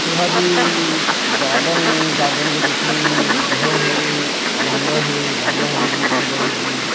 यह जी गार्डन है गार्डन के बीच मे घर हे बंगला हे बंगला हवे जी बड़े बड़े जी--